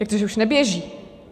Jak to, že už neběží?